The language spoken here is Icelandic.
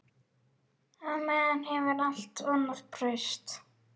Á meðan hefur allt annað breyst.